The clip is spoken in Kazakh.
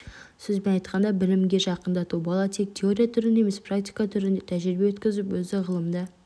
сөзбен айтқанда білімге жақындату бала тек теория түрінде емес практика түрінде тәжірибе өткізіп өзі ғылымда